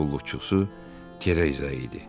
Qulluqçusu Tereza idi.